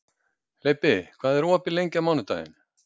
Leibbi, hvað er opið lengi á mánudaginn?